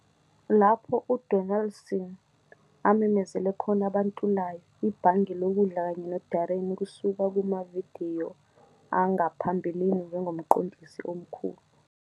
lapho uDonaldson amemezele khona abantulayo, ibhange lokudla kanye noDarren kusuka kumavidiyo angaphambilini njengoMqondisi Omkhulu.